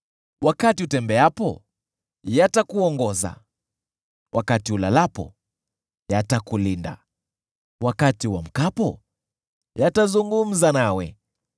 Wakati utembeapo, yatakuongoza; wakati ulalapo, yatakulinda; wakati uamkapo, yatazungumza nawe.